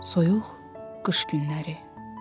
Soyuq qış günləri.